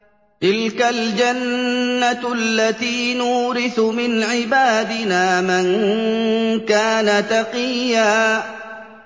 تِلْكَ الْجَنَّةُ الَّتِي نُورِثُ مِنْ عِبَادِنَا مَن كَانَ تَقِيًّا